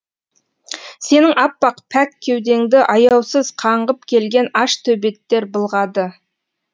сенің аппақ пәк кеудеңді аяусыз қаңғып келген аш төбеттер былғады